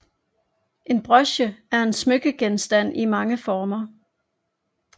En broche er en smykkegenstand i mange former